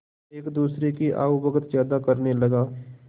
एक दूसरे की आवभगत ज्यादा करने लगा